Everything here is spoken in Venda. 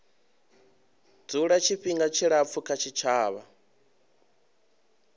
dzula tshifhinga tshilapfu kha tshitshavha